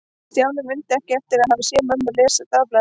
Stjáni mundi ekki eftir að hafa séð mömmu lesa í dagblaði.